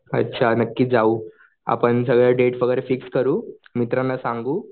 अच्छा नक्की जाऊ आपण सगळं डेट वगैरे फिक्स करू मित्रांना सांगू